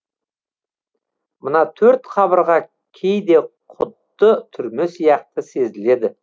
мына төрт қабырға кейде құдды түрме сияқты сезіледі